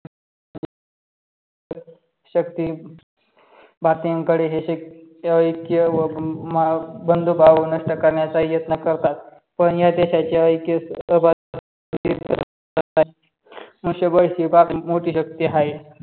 शक्ती भारतीयांकडे हे ऐक्य व बंधुभाव नष्ट करण्याचा प्रयत्न करतात. पण या देशाचे ऐक्य सहभाग असतात मुशबळ ही भारताची मोठी शक्ती आहे.